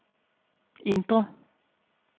indre